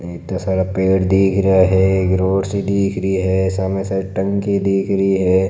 इत्ता सारा पेड़ दीख रहा है एक रोड सी दीख रही है सामने साइड टंकी दीख रही है।